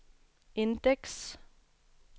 indeks